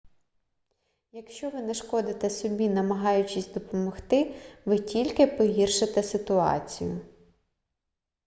якщо ви нашкодите собі намагаючись допомогти ви тільки погіршите ситуацію